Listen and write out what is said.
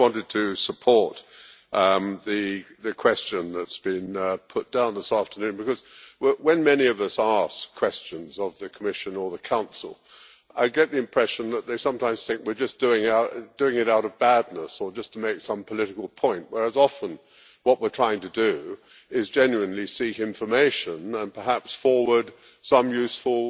I just wanted to support the question that has been put down this afternoon because when many of us ask questions of the Commission or the Council, I get the impression that they sometimes think we are just doing it out of badness or just to make some political point, whereas often what we are trying to do is genuinely seek information and perhaps forward some useful